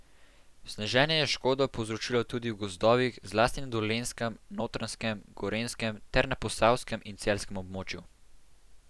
Sneženje je škodo povzročilo tudi v gozdovih, zlasti na Dolenjskem, Notranjskem, Gorenjskem ter na posavskem in celjskem območju.